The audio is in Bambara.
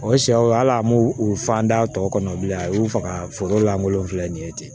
O ye sɛw ala an b'o u fa da tɔ kɔnɔ bilen a y'u faga foro lankolon filɛ nin ye ten